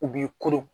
U b'i koron